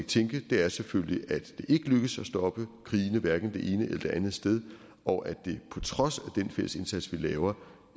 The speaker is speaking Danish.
tænke er selvfølgelig at det ikke lykkes at stoppe krigene hverken det ene eller det andet sted og at det på trods af den fælles indsats vi laver